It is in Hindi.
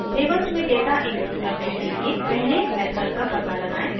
tables मेंडेटा input करने के लिए पहले method का पता लगाएँ